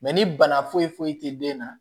ni bana foyi foyi tɛ den na